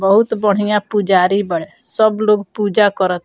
बहुत बढ़िया पुजारी बाड़े सब लोग पुजा करत --